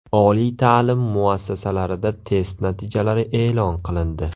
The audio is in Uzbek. Oliy ta’lim muassasalarida test natijalari e’lon qilindi .